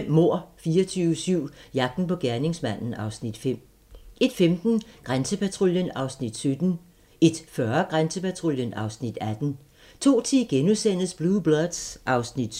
00:05: Mord 24/7 - jagten på gerningsmanden (Afs. 5) 01:15: Grænsepatruljen (Afs. 17) 01:40: Grænsepatruljen (Afs. 18) 02:10: Blue Bloods (Afs. 7)*